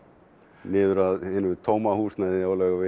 niður að hinu tóma húsnæði á Laugavegi